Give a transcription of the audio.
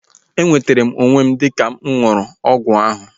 E nwetere m onwe m dịka mụ ṅụrụ ọgwụ ahu